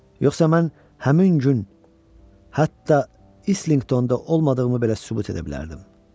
Yoxsa mən həmin gün hətta İslinqtonda olmadığımı belə sübut edə bilərdim.